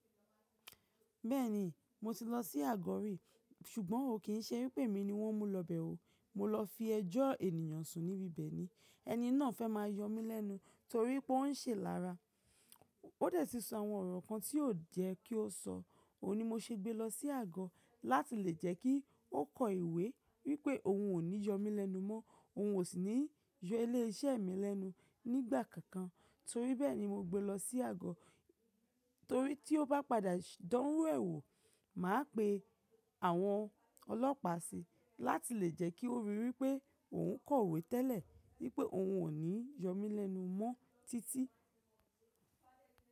Bẹ́ẹ̀ni, mo ti lọ sí àgọ́ rí, ṣùgbọ́n ó kì ń ṣe wípé mi ni wọ́n mú lọ bẹ̀ o. Mo lọ fi ẹjọ́ ènìyàn sùn níbi bẹ̀ ni. Ẹni náà fẹ́ máa yọ mí lẹ́nu torí pé ó ń ṣe ilára. Ó dẹ̀ ti sọ àwọn ọ̀rọ̀ kan tí ó yẹ́ kí ó sọ. Òun ni mo ṣe gbé lọ sí àgọ́ láti lè jẹ́ kí ó kọ ìwé wípé òun ò ní yọ mí lẹ́nu mọ́, òun ò sì ní yọ ilé iṣẹ́ mi lẹ́nu nígbà kankan. Torí bẹ́ẹ̀ ni mo gbé lọ sí àgọ́. Torí tí ó bá padà dán irú ẹ̀ wo, màá pe àwọn ọlọ́pàá síi láti lè jẹ́ kí ó ríi wípé òun kọ ìwé tẹ́lẹ̀ wípé òun ò ní yọ mí lẹ́nu mọ́ títí.